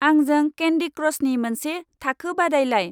आंजों केन्दि क्राशनि मोनसे थाखो बादायलाय।